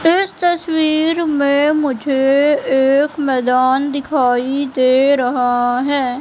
इस तस्वीर में मुझे एक मैदान दिखाई दे रहा है।